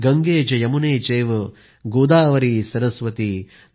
गंगेच यमुने चैव गोदावरि सरस्वती आय